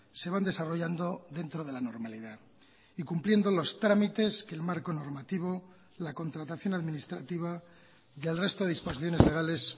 se van desarrollando dentro de la normalidad y cumpliendo los trámites que el marco normativo la contratación administrativa y el resto de disposiciones legales